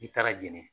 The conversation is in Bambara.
I taara jɛnɛ